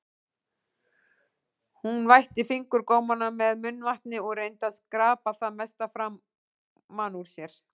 Hún vætti fingurgómana með munnvatni og reyndi að skrapa það mesta framan úr sér.